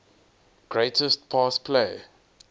greatest pass play